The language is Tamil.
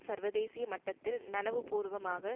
சர்வதேசிய மட்டத்தில் நனவுபூர்வமாக